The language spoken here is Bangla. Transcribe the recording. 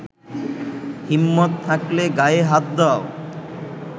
হিম্মত থাকলে গায়ে হাত দাও।